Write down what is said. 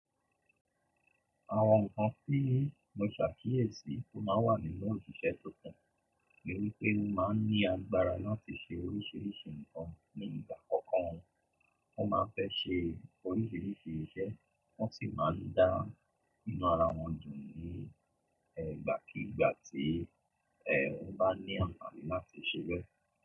Àwọn ǹkan tí mo ṣàkíyèsí tó máa wà nínú òṣìṣẹ́ tuntun ni wípé wọ́n máa ń ní agbára láti ṣe oríṣiríṣi ǹkan nígbà kọ̀ọ̀kan wọn. Wọ́n máa ń fẹ́ ṣe oríṣiríṣi iṣẹ́ wọ́n sì máa ń dá nínú ara wọn jù ní, ẹ́, ìgbàkíigbà tí, ẹ́, wọ́n bá ní àǹfààní láti ṣe beẹ́.